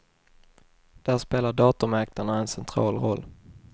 Där spelar datormäklarna en central roll.